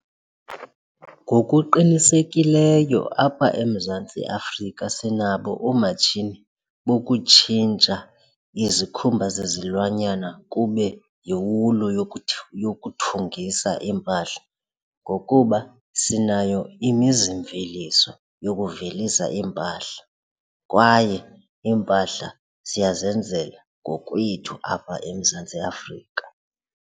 Ngokuqinisekileyo apha eMzantsi Afrika sinabo oomatshini bokutshintsha izikhumba zezilwanyana kube yiwulu yokuthungisa iimpahla ngokuba sinayo imizimveliso yokuvelisa iimpahla kwaye iimpahla siyazenzela ngokwethu apha eMzantsi Afrika.